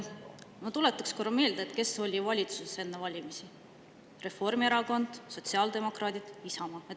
Ma tuletaks korra meelde, kes olid valitsuses enne valimisi: Reformierakond, sotsiaaldemokraadid, Isamaa.